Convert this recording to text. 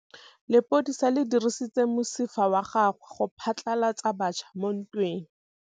Lepodisa le dirisitse mosifa wa gagwe go phatlalatsa batšha mo ntweng.